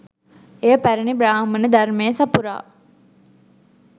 එය පැරැණි බ්‍රාහ්මණ ධර්මය සපුරා